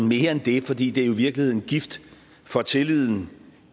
mere end det fordi det jo i virkeligheden er gift for tilliden